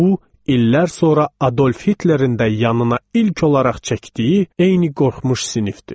Bu illər sonra Adolf Hitlerin də yanına ilk olaraq çəkdiyi eyni qorxmuş sinifdir.